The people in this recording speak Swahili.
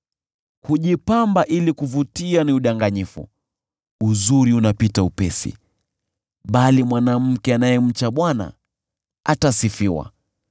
Kujipamba ili kuvutia ni udanganyifu na uzuri unapita upesi, bali mwanamke anayemcha Bwana atasifiwa.